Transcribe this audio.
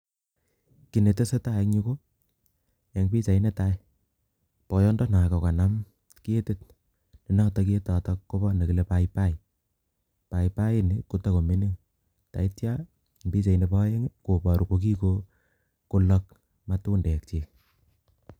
Kinetese tai en yu ko en pichait netai, boyondonoo ko kanaam ketiit, nenotok ketotok kobo legit nekile paipai, paipai ini kotakomingiin, en pichait nebo peng koboru kokikoloog matundekchik